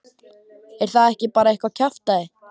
Er það ekki bara eitthvað kjaftæði?